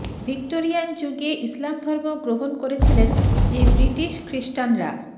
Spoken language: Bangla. ভিক্টোরিয়ান যুগে ইসলাম ধর্ম গ্রহণ করেছিলেন যে ব্রিটিশ খ্রিস্টানরা